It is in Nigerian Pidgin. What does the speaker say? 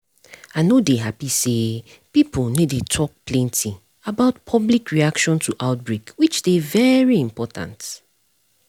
i no dey happy say pipo no dey talk plenty about public reaction to outbreak which dey very important